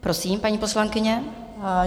Prosím, paní poslankyně.